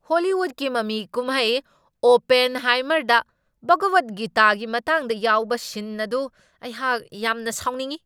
ꯍꯣꯂꯤꯋꯨꯗꯀꯤ ꯃꯃꯤ ꯀꯨꯝꯍꯩ "ꯑꯣꯄꯦꯟꯍꯥꯏꯃꯔ"ꯗ ꯚꯒꯋꯗ ꯒꯤꯇꯥꯒꯤ ꯃꯇꯥꯡꯗ ꯌꯥꯎꯕ ꯁꯤꯟ ꯑꯗꯨ ꯑꯩꯍꯥꯛ ꯌꯥꯝꯅ ꯁꯥꯎꯅꯤꯡꯢ꯫